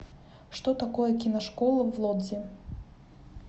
что такое киношкола в лодзи